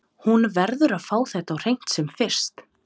Hún verður að fá þetta á hreint sem fyrst.